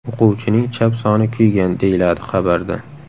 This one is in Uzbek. O‘quvchining chap soni kuygan”, deyiladi xabarda.